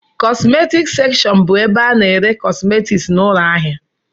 Kọsmetic sekshọn bụ ebe a ná-ere kọsmetics na ụlọ ahịa.